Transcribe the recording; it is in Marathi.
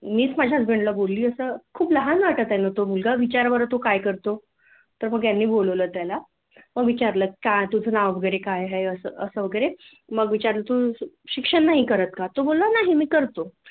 मीच माझ्या हजबंड ला बोलल होत खूप लहान वाटत आहे ना तो मुलगा विचारा बरं तो काय करतो तर मग ह्यांनी बोलवल त्याला मग विचारल त्याला काय तुझ नाव वैगरे काय आहे अस मग तु शिक्षण नाही करत का नाही मी करतो